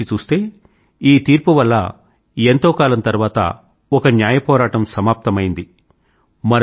ఒక వైపు నుంచి చూస్తే ఈ తీర్పు వల్ల ఎంతో కాలం తర్వాత ఒక న్యాయ పోరాటం సమాప్తమైంది